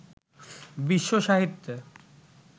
বিশ্বসাহিত্যে